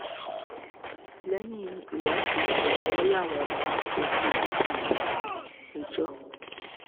lẹ́yìn ìwádìí ni wọ́n láwọn máa fojú rẹ̀ balẹ̀-ẹjọ́